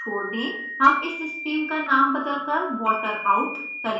हम इस stream का name बदलकर water out करेंगे